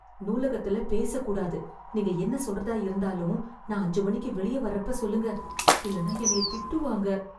நூலகத்துல பேசக் கூடாது. நீங்க என்ன சொல்றதா இருந்தாலும் நான் அஞ்சு மணிக்கு வெளிய வர்றப்ப சொல்லுங்க. இல்லைனா என்னய திட்டுவாங்க.